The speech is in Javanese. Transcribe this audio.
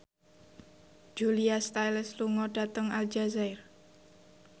Julia Stiles lunga dhateng Aljazair